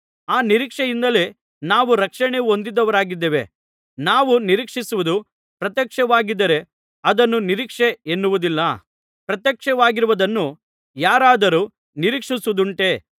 ಆ ನಿರೀಕ್ಷೆಯಿಂದಲೇ ನಾವು ರಕ್ಷಣೆಯನ್ನು ಹೊಂದಿದವರಾಗಿದ್ದೇವೆ ನಾವು ನಿರೀಕ್ಷಿಸುವುದು ಪ್ರತ್ಯಕ್ಷವಾಗಿದ್ದರೆ ಅದನ್ನು ನಿರೀಕ್ಷೆ ಎನ್ನುವುದಿಲ್ಲ ಪ್ರತ್ಯಕ್ಷವಾಗಿರುವುದನ್ನು ಯಾರಾದರೂ ನಿರೀಕ್ಷಿಸುವುದುಂಟೇ